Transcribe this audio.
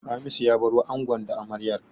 Hamisu ya baro angon da amaryar.